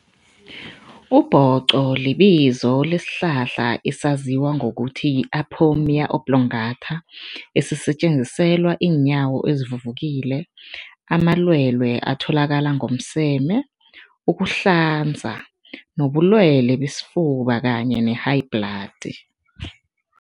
Ubhoqo libizo lesihlahla esaziwa ngokuthi yi-ipomoea oblongata, esisetjenziselwa iinyawo ezivuvukile, amalwelwe atholakala ngomseme, ukuhlanza nobulwelwe besifuba kanye ne-high blood.